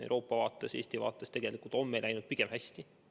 Euroopa vaates ja Eesti vaates on meil tegelikult läinud pigem hästi.